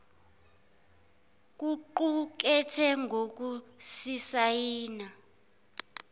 kuqu kethe ngokusisayina